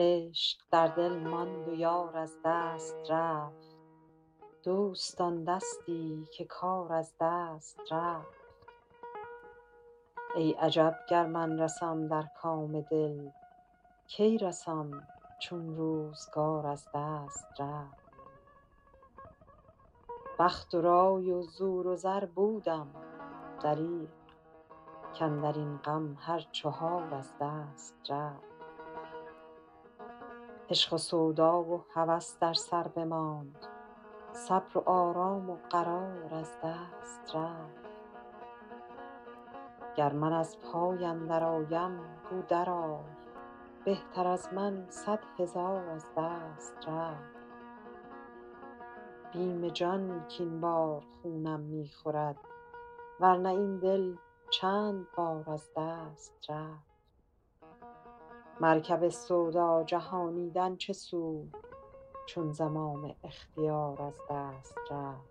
عشق در دل ماند و یار از دست رفت دوستان دستی که کار از دست رفت ای عجب گر من رسم در کام دل کی رسم چون روزگار از دست رفت بخت و رای و زور و زر بودم دریغ کاندر این غم هر چهار از دست رفت عشق و سودا و هوس در سر بماند صبر و آرام و قرار از دست رفت گر من از پای اندرآیم گو درآی بهتر از من صد هزار از دست رفت بیم جان کاین بار خونم می خورد ور نه این دل چند بار از دست رفت مرکب سودا جهانیدن چه سود چون زمام اختیار از دست رفت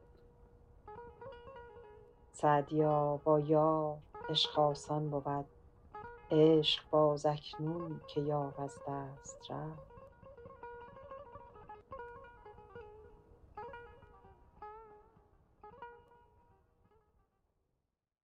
سعدیا با یار عشق آسان بود عشق باز اکنون که یار از دست رفت